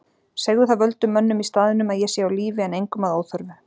Segðu það völdum mönnum í staðnum að ég sé á lífi en engum að óþörfu.